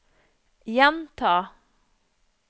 gjenta